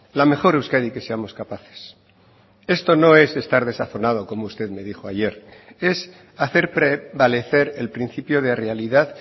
la mejor euskadi que seamos capaces esto no es estar desazonado como usted me dijo ayer es hacer prevalecer el principio de realidad